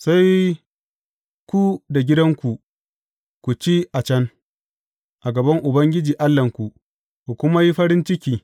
Sai ku da gidanku, ku ci a can, a gaban Ubangiji Allahnku, ku kuma yi farin ciki.